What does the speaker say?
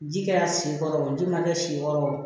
Ji kɛra sen kɔrɔ o ji ma kɛ si yɔrɔ o